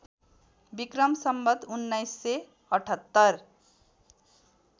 Vikram Samvat १९७८